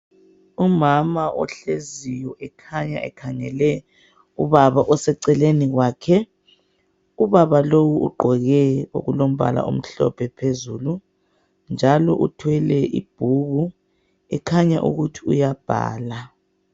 Umama ohleziyo ekhanya ekhangele ubaba oseceleni kwakhe. Ubaba lowu ugqoke okulombala omhlophe phezulu njalo uthwele ibhuku ekhanya ukuthi uyabhala.